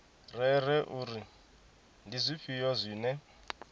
rere uri ndi zwifhio zwine